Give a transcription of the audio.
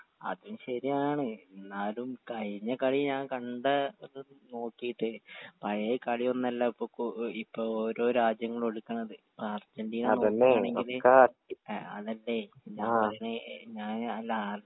അതും ശരിയാണ് ഇന്നാലും കഴിഞ്ഞ കളി ഞാൻ കണ്ട നോകീട്ട് പഴേ കളിയൊന്നല്ല ഇപ്പൊ കോ ഇപ്പൊ ഓരോ രാജ്യങ്ങളും ഒളികണത് അർജന്റീന ആ അതല്ലെ ഞാൻ ല്ല